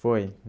Foi.